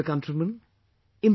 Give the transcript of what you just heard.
My dear countrymen,